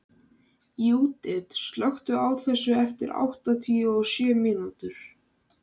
Júdit, slökktu á þessu eftir áttatíu og sjö mínútur.